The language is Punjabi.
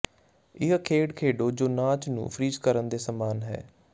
ਇਹ ਖੇਡ ਖੇਡੋ ਜੋ ਨਾਚ ਨੂੰ ਫ੍ਰੀਜ਼ ਕਰਨ ਦੇ ਸਮਾਨ ਹੈ